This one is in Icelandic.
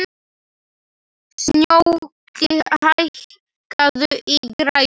Snjóki, hækkaðu í græjunum.